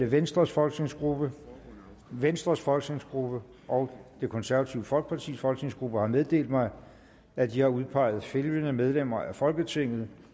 venstres folketingsgruppe venstres folketingsgruppe og det konservative folkepartis folketingsgruppe har meddelt mig at de har udpeget følgende medlemmer af folketinget